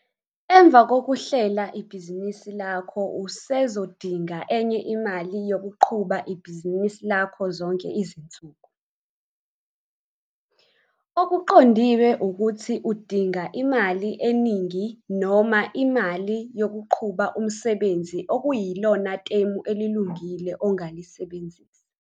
Emva kokuhlela ibhizinisi lakho usezodinga enye imali yokuqhuba ibhizinisi lakho zonke izinsuku. Okuqondiwe ukuthi udinga imali eningi noma imali yokuqhuba umsebenzi okuyilona temu elilungile ongalisebenzisa.